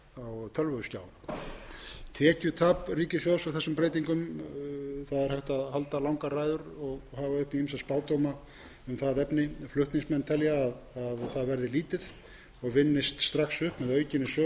eða á tölvuskjá tekjutap ríkissjóðs af þessum breytingum það er hægt að halda langar ræður og hafa uppi ýmsa spádóma um það efni flutningsmenn telja að það verði lítið og vinnist strax upp með aukinni sölu bóka og korta af öllu tagi eins